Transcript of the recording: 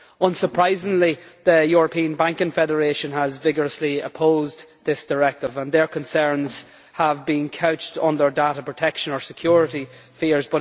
Unsurprisingly, the European Banking Federation has vigorously opposed this directive, and their concerns have been couched under data protection or security fears.